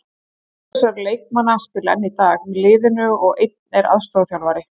Tveir þessara leikmanna spila enn í dag með liðinu og einn er aðstoðarþjálfari.